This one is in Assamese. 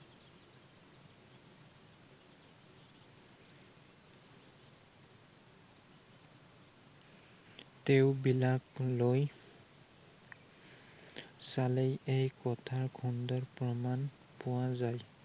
তেওঁ বিলাক লৈ চালেই এই কথাৰ সুন্দৰ প্ৰমাণ পোৱা যায়।